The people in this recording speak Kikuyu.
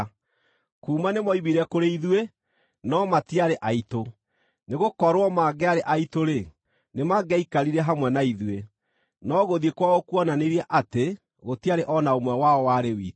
Kuuma nĩmoimire kũrĩ ithuĩ, no matiarĩ aitũ. Nĩgũkorwo mangĩarĩ aitũ-rĩ, nĩmangĩaikarire hamwe na ithuĩ; no gũthiĩ kwao kuonanirie atĩ gũtiarĩ o na ũmwe wao warĩ witũ.